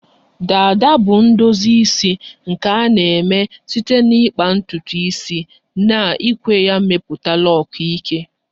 Dada bu ndozi isi nke a na-eme site n'ikpa ntutu isi na ikwe ya mmepụta lok eke